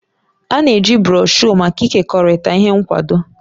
A na-eji broshuọ maka ịkekọrịta ihe nkwado.